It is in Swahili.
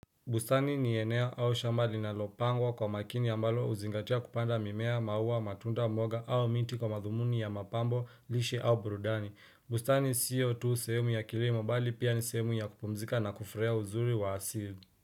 Bustani ni eneo au shamba linalopangwa kwa makini ambalo huzingatia kupanda mimea, maua, matunda, mboga au miti kwa madhumuni ya mapambo, lishe au burudani. Bustani siyo tu sehemu ya kilimo bali pia ni sehemu ya kupumzika na kufurahia uzuri wa asili.